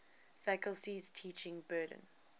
faculty's teaching burden